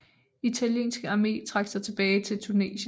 Italienske Arme trak sig tilbage til Tunesien